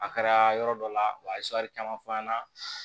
A kɛra yɔrɔ dɔ la wa a ye caman fɔ an ɲɛna